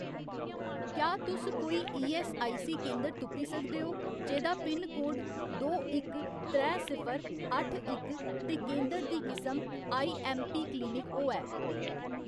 क्या तुस कोई ईऐस्सआईसी केंदर तुप्पी सकदे ओ जेह्‌दा पिनकोड दो इक त्रै सिफर अट्ठ इक ते केंदर दी किसम आईऐम्मपी क्लिनिक होऐ ?